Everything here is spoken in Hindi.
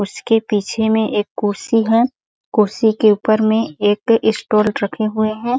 उसके पीछे में एक कुर्सी है कुर्सी के ऊपर में एक स्टूल रखे हुए है।